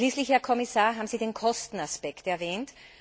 Schließlich, Herr Kommissar, haben Sie den Kostenaspekt erwähnt.